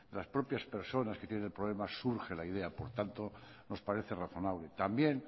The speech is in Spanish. las propias personas que tienen el problema surge la idea por tanto nos parece razonable también